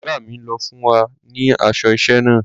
Ọ̀gá mi ló fún wa ní aṣọ iṣẹ́ náà.